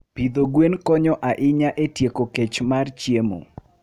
Pidho gwen konyo ahinya e tieko kech mar chiemo.